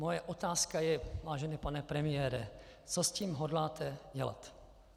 Moje otázka je, vážený pane premiére, co s tím hodláte dělat.